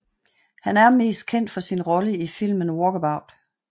Han er mest kendt for sin rolle i filmen Walkabout